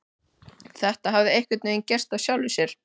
Þetta hafði einhvern veginn gerst af sjálfu sér.